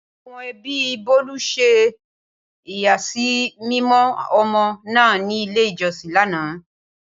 Awon ebi Bolu se iyasimimo omo naa ni ile ijosin lana.